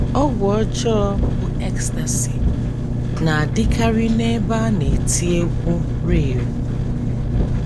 Ọgwụ ọjọọ bụ́ “ ecstasy ” na - adịkarị n’ebe ndị a na - eti egwú “ rave ”